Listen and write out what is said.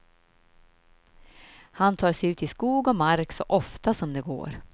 Han tar sig ut i skog och mark så ofta som det går.